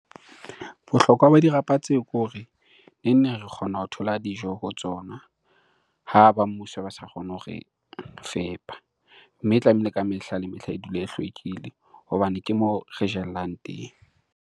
Bohlokwa ba dirapa tseo ke hore neng neng re kgona ho thola dijo ho tsona ha ba mmuso ba sa kgone hore fepa. Mme tlamehile ka mehla le mehla e dule e hlwekile hobane ke moo re jellang teng.